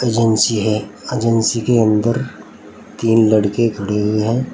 Agency है agency के अंदर तीन लड़के खड़े हुए है।